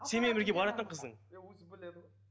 сенімен бірге баратын қыздың